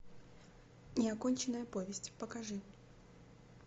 неоконченная повесть покажи